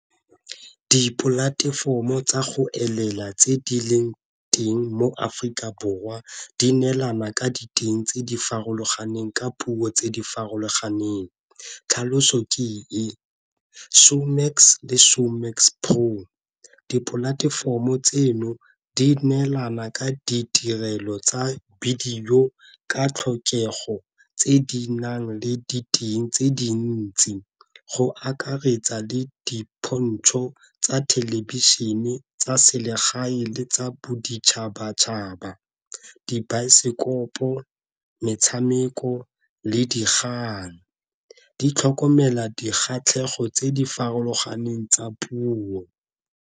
Dipolatefomo tsa go elela tse di leng teng mo Aforika Borwa di neelana ka diteng tse di farologaneng ka puo tse di farologaneng, tlhaloso ke e Shomax le Showmax pro. Dipolatefomo tseno di neelana ka ditirelo tsa bidio ka tlhokego tse di nang le tse dintsi, go akaretsa le dipontsho tsa thelebišene tsa selegae le tsa boditšhabatšhaba, dibaesekopo, metshameko le dikgang. Di tlhokomela dikgatlhegelo tse di farologaneng tsa puo.